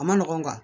A ma nɔgɔn